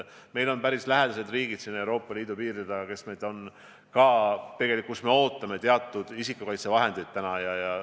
Meil on päris lähedased riigid siin Euroopa Liidu piiride taga, kust me täna ootame teatud isikukaitsevahendeid.